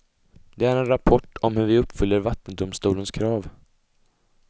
Det är en rapport om hur vi uppfyller vattendomstolens krav.